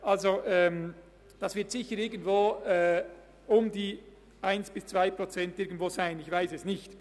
Der Zins wird bei 1 bis 2 Prozent liegen, ich weiss es nicht.